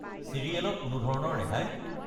Serial ত কোনো ধৰণৰ ৰেহাই?